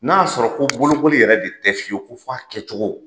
N'a y'a sɔrɔ ko bolokoli yɛrɛ de tɛ fiyewu fɔ a kɛcogo.